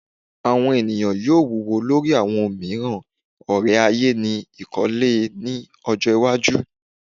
Awọn eniyan yoo wuwo lori awọn omiiran ore-aye ni ikole ni ọjọ iwaju